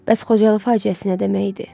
Bəs Xocalı faciəsi nə demək idi?